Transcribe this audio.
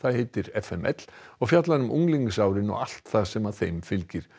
heitir f m l og fjallar um unglingsárin og allt sem þeim fylgir